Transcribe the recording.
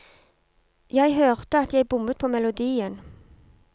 Jeg hørte at jeg bommet på melodien.